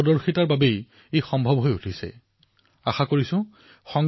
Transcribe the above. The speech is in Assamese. আহক এই উপলক্ষে আমি সংবিধান সভাৰ সকলো সদস্যক শ্ৰদ্ধাৰে সোঁৱৰো আৰু শ্ৰদ্ধাঞ্জলি অৰ্পণ কৰো